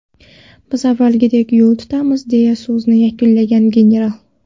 Biz avvalgidek yo‘l tutamiz”, deya so‘zini yakunlagan general.